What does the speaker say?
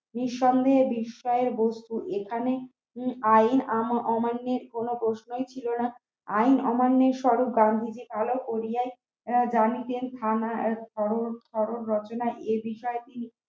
নিঃসন্দেহে বিষয়বস্তু এখানে আইন অমান্যের কোন প্রশ্নই ছিল না আইন অমান্যের স্বরূপ গান্ধীজি ভালো করিয়া জানিতেন থানা ভারত রচনা এ বিষয়ে